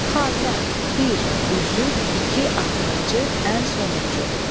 Xatəm, bir, üzük, iki, axırıncı, ən sonuncu.